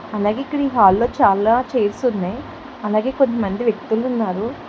అలాగే ఇక్కడ ఈ హల్ లో చాలా చైర్స్ ఉన్నాయి అలాగే కొంత మంది వ్యక్తులు ఉన్నారు.